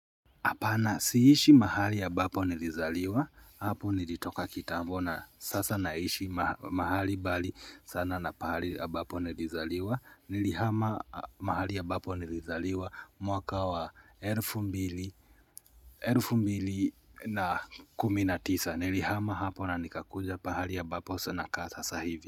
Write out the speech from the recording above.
Apana siishi mahali ambapo nilizaliwa hapo nilitoka kitambo na sasa naishi mahali bali sana na pahali ya ambapo nilizaliwa nilihama mahali ambapo nilizaliwa mwaka wa elfu mbili elfu mbili na kumi na tisa nilihama hapo na nikakuja pahali ya ambapo saa nakaa sasa hivi.